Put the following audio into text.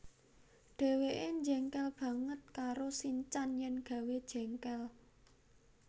Dheweke jengkel banget karo sinchan yen gawé jengkel